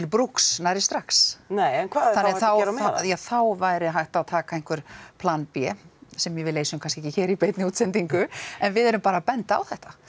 brúks nærri strax nei en hvað þarf þá þá væri hægt að taka einhver plan b sem við leysum kannski ekki hér í beinni útsendingu en við erum bara að benda á þetta